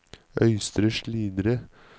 Øystre Slidre